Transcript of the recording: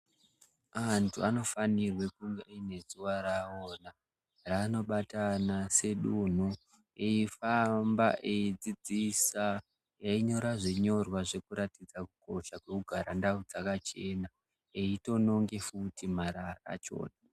Vantu vanofanirwa kunge vane zuwa rawo rabobatana nedunhu eifamba eidzidzisa veinyora zvinyorwa pekugara ndau dzakachena.